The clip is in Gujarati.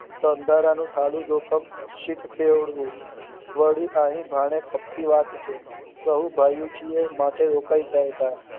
તો અંધારાનું ખાઈ જોખમ શીખ ખેડવું વળી અહીં ભણે ખપી વાત છે કહું જઇયે છીએ માટે રોકાઈ જાવ તા